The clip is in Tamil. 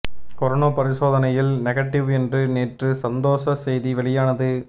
கொரோனா பரிசோதனையில் நெகடிவ் என்று நேற்று சந்தோஷ செய்தி வெளியானது